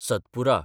Satpura